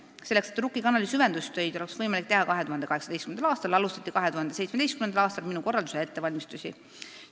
" Selleks et Rukki kanali süvendustöid oleks võimalik teha 2018. aastal, alustati 2017. aastal minu korraldusel ettevalmistusi.